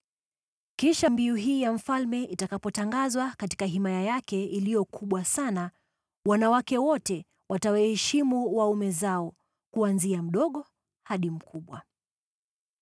Kisha mbiu hii ya mfalme itakapotangazwa katika himaya yake iliyo kubwa sana, wanawake wote watawaheshimu waume zao, kuanzia mdogo hadi mkubwa.”